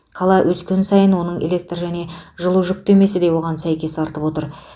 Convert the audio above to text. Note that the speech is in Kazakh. қала өскен сайын оның электр және жылу жүктемесі де соған сәйкес артып отыр